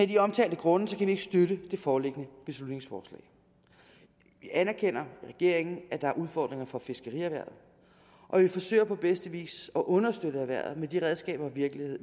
de omtalte grunde ikke støtte det foreliggende beslutningsforslag vi anerkender i regeringen at der er udfordringer for fiskerierhvervet og vi forsøger på bedste vis at understøtte erhvervet med de redskaber og virkemidler